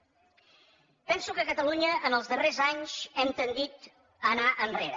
penso que a catalunya en els darrers anys hem tendit a anar enrere